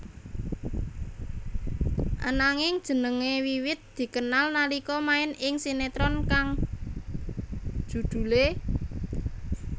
Ananging jenengé wiwit dikenal nalika main ing sinetron kang judhulé